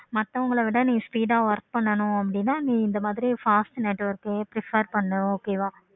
மத்தவங்கள விட நீ சீக்கிரம் work பண்ணனும் அப்படின்னா இந்த மாதிரி fast network prefer பன்னு okay வ